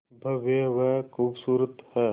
भव्य व खूबसूरत है